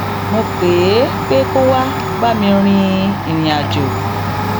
mo pè é pé kó wá bá mi rìnrìn àjò